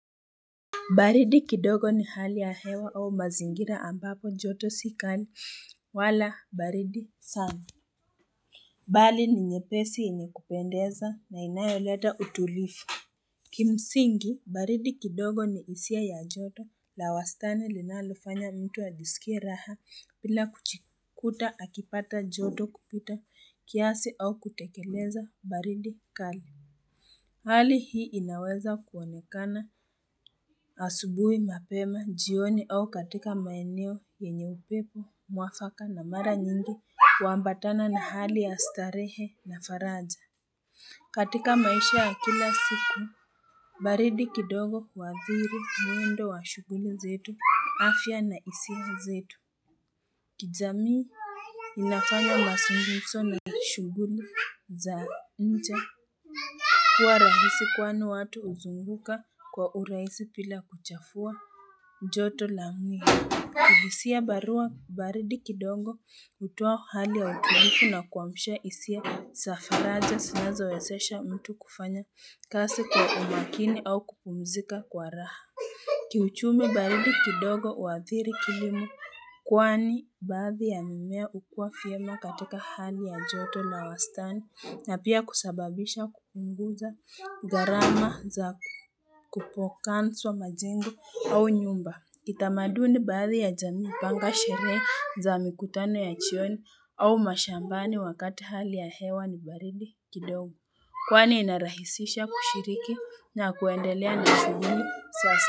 Baridi kidogo ni hali ya hewa au mazingira ambapo joto si kali wala baridi sana. Bali ni nyepesi yenye kupendeza na inayoleta utulivu. Kimsingi, baridi kidogo ni hisia ya joto la wastani linalofanya mtu ajisikie raha bila kujikuta akipata joto kupita kiasi au kutekeleza baridi kali. Hali hii inaweza kuonekana asubuhi mapema jioni au katika maeneo yenye upepo muafaka na mara nyingi huambatana na hali ya starehe na faraja. Katika maisha ya kila siku, baridi kidogo huathiri mwendo wa shughuli zetu, afya na hisia zetu. Kijamii inafanya mazungumzo na shughuli za nje kuwa rahisi kwani watu huzunguka kwa uraisi bila kuchafua joto la mwili kihisia ya barua baridi kidogo hutoa hali ya utulivu na kuamsha hisia za faraja zinazowezesha mtu kufanya kazi kwa umakini au kupumzika kwa raha Kiuchumi baridi kidogo huathiri kilimo kwani baadhi ya mimea hukua vyema katika hali ya joto na wastani na pia kusababisha kukunguza garama za kupokansu wa majingu au nyumba. Kitamaduni baadhi ya jamii hupanga sherehe za mikutano ya jioni au mashambani wakati hali ya hewa ni baridi kidogo kwani inarahisisha kushiriki na kuendelea na shughuli sasa.